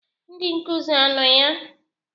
Ndị nkuzi a no ya?